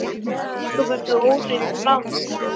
Ósköp ertu óhrein í framan, sagði hann.